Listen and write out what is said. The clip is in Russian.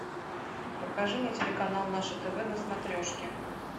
покажи мне телеканал наше тв на смотрешке